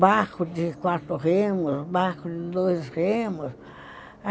Barco de quatro remos, barco de dois remos.